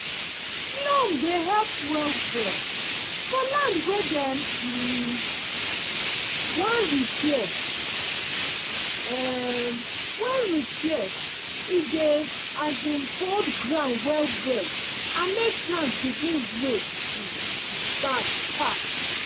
loam dey help well-well for land wey dem um wan repair um wan repair e dey um hold ground well well and make plants begin grow um back fast.